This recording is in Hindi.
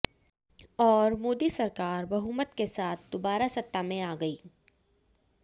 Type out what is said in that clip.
और मोदी सरकार बहुमत के साथ दोबारा सत्ता में आ गई